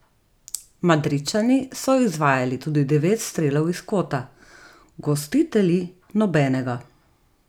Madridčani so izvajali tudi devet strelov iz kota, gostitelji nobenega.